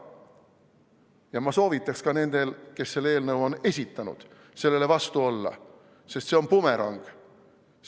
Ja ma soovitaksin ka nendel, kes selle eelnõu on esitanud, sellele vastu olla, sest see on bumerang.